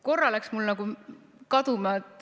Korra läks mul nagu kaduma.